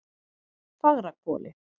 Fagrahvoli